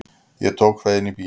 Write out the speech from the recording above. Ég tók það inn í bíl.